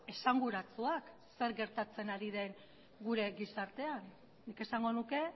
esanguratsuak zer gertatzen ari den gure gizartean nik esango nuke